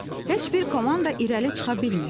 Heç bir komanda irəli çıxa bilmirdi.